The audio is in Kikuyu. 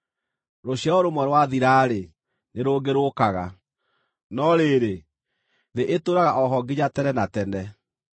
Rũciaro rũmwe rwathira-rĩ, nĩ rũngĩ rũũkaga, no rĩrĩ, thĩ ĩtũũraga o ho nginya tene na tene.